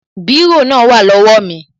Bírò náà wà lówá mi